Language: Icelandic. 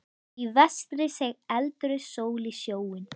Í vestri seig eldrauð sól í sjóinn.